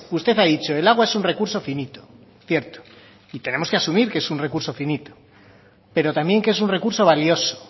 usted ha dicho el agua es un recurso finito cierto y tenemos que asumir que es un recurso finito pero también que es un recurso valioso